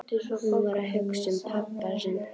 Hún var að hugsa um pabba sinn.